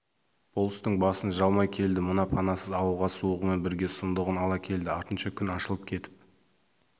болыстың басын жалмай келді мына панасыз ауылға суығымен бірге сұмдығын ала келді артынша күн ашылып кетіп